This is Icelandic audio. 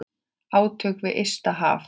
Átök við ysta haf.